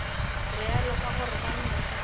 realo ka gore ka mehla